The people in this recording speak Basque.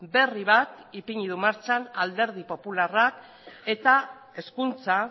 berri bat ipini du martxan alderdi popularrak eta hezkuntza